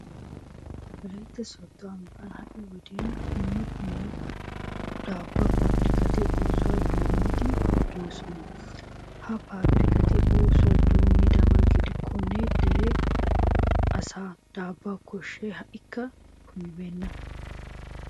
Wolaytta sooddo ambban ha"i wodiyan dumma dumma daabbuwa paabirkkati oosuwa doommiiddi de'oosona. Ha paabirkkati oosuwa doommidaba gidikkonne dere asaa daabbuwa koshshay ha"ikka kumibeenna.